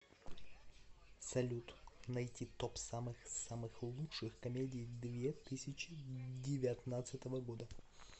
салют найти топ самых самых лучших комедий две тысячи девятнадцатого года